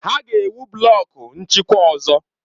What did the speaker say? Ha ga-ewu blọku nchịkwa ọzọ.